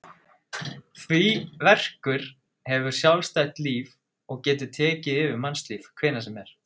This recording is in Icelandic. Því verkur hefur sjálfstætt líf og getur tekið yfir mannslíf hvenær sem er.